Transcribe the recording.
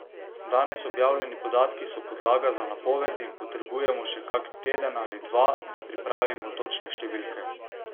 Danes objavljeni podatki so podlaga za napoved in potrebujemo še kak teden ali dva, da pripravimo točne številke.